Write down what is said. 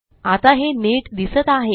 आता हे नीट दिसत आहे